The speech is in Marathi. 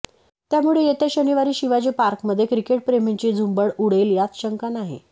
त्यामुळे येत्या शनिवारी शिवाजी पार्कमध्ये क्रिकेटप्रेमींची झुंबड उडेल यात शंका नाही